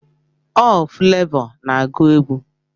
Ọ Fulavọ na-agụ egwu